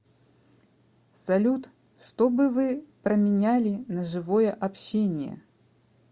салют что бы вы променяли на живое общение